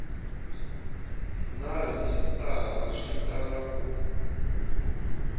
na rhejisitara swi tala ku